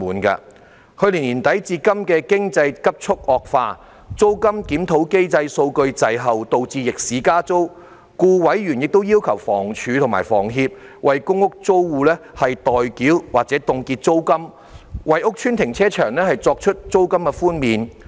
自去年年底至今，經濟急速惡化，租金檢討機制數據滯後，導致逆市加租，故委員亦要求房屋署和房協為公屋租戶代繳或凍結租金，為屋邨停車場作出租金寬免。